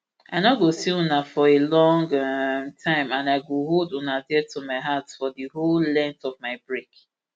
i no go see una for a long um time and i go hold una dear to my heart for di whole length of my break